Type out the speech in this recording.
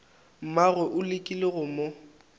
mmagwe o lekile go mo